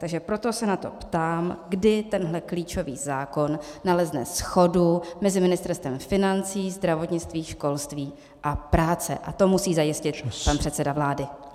Takže proto se na to ptám, kdy tenhle klíčový zákon nalezne shodu mezi ministerstvy financí, zdravotnictví, školství a práce, a to musí zajistit pan předseda vlády.